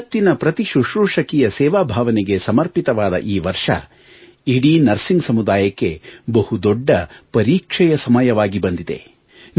ಜಗತ್ತಿನ ಪ್ರತಿ ಶುಶ್ರೂಷಕಿಯ ಸೇವಾಭಾವನೆಗೆ ಸಮರ್ಪಿತವಾದ ಈ ವರ್ಷ ಇಡೀ ನಸಿರ್ಂಗ್ ಸಮುದಾಯಕ್ಕೆ ಬಹು ದೊಡ್ಡ ಪರೀಕ್ಷೆಯ ಸಮಯವಾಗಿ ಬಂದಿದೆ